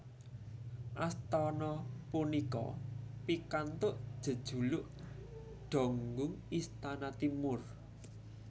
Astana punika pikantuk jejuluk Donggung Istana Timur